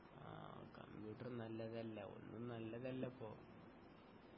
ആ കമ്പ്യൂട്ടറും നല്ലതല്ല ഒന്നും നല്ലതല്ല ഇപ്പൊ